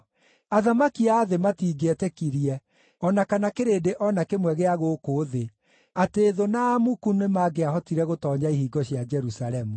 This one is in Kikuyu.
Athamaki a thĩ matingĩetĩkirie, o na kana kĩrĩndĩ o na kĩmwe gĩa gũkũ thĩ, atĩ thũ na amuku nĩmangĩahotire gũtoonya ihingo cia Jerusalemu.